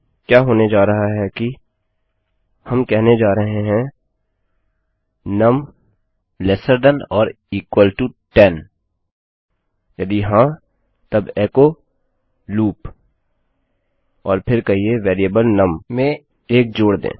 क्या होने जा रहा है कि हम कहने जा रहे हैं num less than or equal to 10 num 10 से छोटा या बराबर है यदि हाँ तब एचो लूप और फिर कहिये वेरिएबल नुम में 1 जोड़ दें